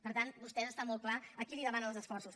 per tant vostès està molt clar a qui demanen els esforços